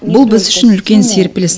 бұл біз үшін үлкен серпіліс